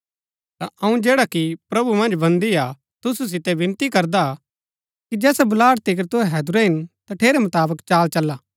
ता अऊँ जैडा कि प्रभु मन्ज बन्दी हा तुसु सितै विनती करदा कि जैसा बुलाहट तिकर तुहै हैदुरै हिन तठेरै मुताबक चाल चला